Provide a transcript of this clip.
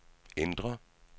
indre